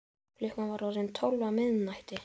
Klukkan var orðin tólf á miðnætti.